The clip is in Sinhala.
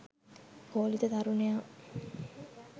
කෝලිත තරුණයා